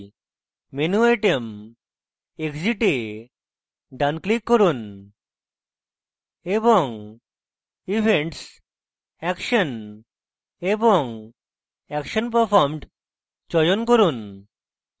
menu item exit এ ডান click করুন এবং events action এবং action performed চয়ন করুন